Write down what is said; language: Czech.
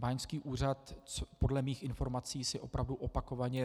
Báňský úřad podle mých informací si opravdu opakovaně...